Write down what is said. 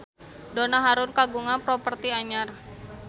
Donna Harun kagungan properti anyar